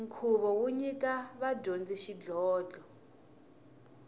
nkhuvo wo nyika vadyondzi xidlhodlho